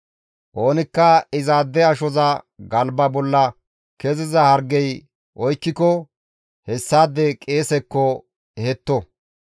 «Oonikka izaade ashoza galba bolla keziza hargey oykkiko hessaade qeesekko ehetto.